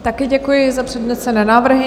Také děkuji za přednesené návrhy.